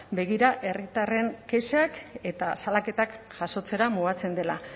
begira herritarren kexak eta salaketak jasotzera mugatzen dela